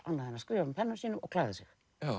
annað en að skrifa með pennanum sínum og klæða sig